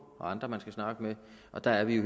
og andre man skal snakke med og der er vi